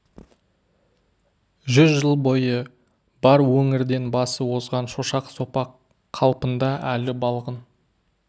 жүз жыл бойы бар өңірден басы озған шошақ сопақ қалпында әлі балғын